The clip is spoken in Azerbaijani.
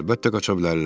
Əlbəttə qaça bilərlər.